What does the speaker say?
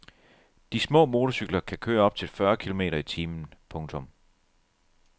De små motorcykler kan køre op til fyrre kilometer i timen. punktum